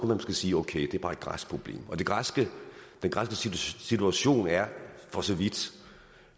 måske sige okay det er bare et græsk problem og den græske situation er for så vidt